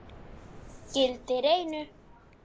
Gildir einu!